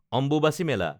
Ambubachi Mela